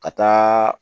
Ka taa